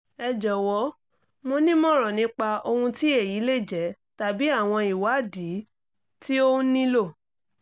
ẹ jọ̀wọ́ mi nímọ̀ràn nípa ohun tí èyí lè jẹ́ tàbí àwọn ìwádìí tí òun nílò